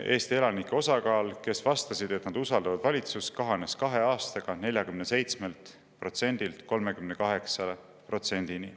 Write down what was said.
Eesti elanike osakaal, kes vastas, et nad usaldavad valitsust, kahanes kahe aastaga 47%-lt 38%-ni.